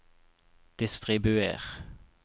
distribuer